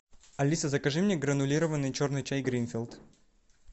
алиса закажи мне гранулированный черный чай гринфилд